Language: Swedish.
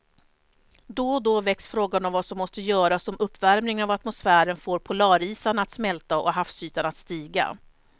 Då och då väcks frågan om vad som måste göras om uppvärmingen av atmosfären får polarisarna att smälta och havsytan att stiga.